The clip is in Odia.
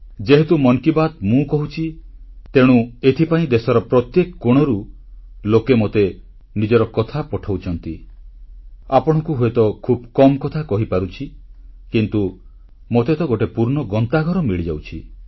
ଯେହେତୁ ମନ୍ କି ବାତ୍ ମୁଁ କହୁଛି ତେଣୁ ଏଥିପାଇଁ ଦେଶର ପ୍ରତ୍ୟେକ କୋଣରୁ ଲୋକେ ମୋତେ ନିଜର କଥା ପଠାଉଛନ୍ତି ଆପଣଙ୍କୁ ହୁଏତ ଖୁବ୍ କମ୍ କଥା କହିପାରୁଛି କିନ୍ତୁ ମୋତେ ତ ଗୋଟିଏ ପୂର୍ଣ୍ଣ ଗନ୍ତାଘର ମିଳିଯାଉଛି